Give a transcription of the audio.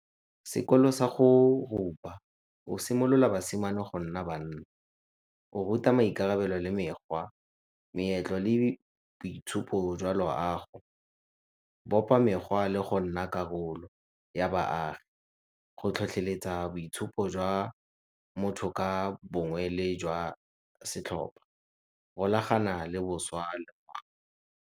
Sekolo sa go rupa o simolola basimane go nna banna, go ruta maikarabelo le mekgwa, meetlo le boitshupo jwa loago, bopa mekgwa le go nna karolo ya baagi, go tlhotlheletsa boitshupo jwa motho ka bongwe le jwa setlhopha, rolagana le boswa le .